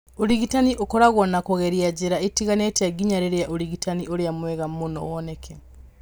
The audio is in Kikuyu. Ũrigitani ũkoragwo na kũgeria njĩra itiganĩte nginya rĩrĩa ũrigitani ũrĩa mwega mũno woneke.